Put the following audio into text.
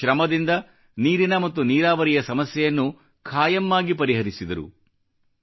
ತಮ್ಮ ಶ್ರಮದಿಂದ ನೀರಿನ ಮತ್ತು ನೀರಾವರಿಯ ಸಮಸ್ಯೆಯನ್ನು ಖಾಯಂ ಆಗಿ ಪರಿಹರಿಸಿದರು